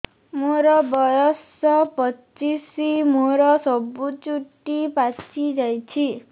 ମୋର ବୟସ ପଚିଶି ମୋର ସବୁ ଚୁଟି ପାଚି ଯାଇଛି